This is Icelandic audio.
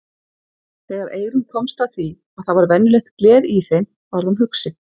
Þegar Eyrún komst að því að það var venjulegt gler í þeim varð hún hugsi.